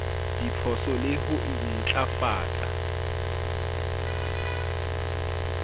diphoso le ho e ntlafatsa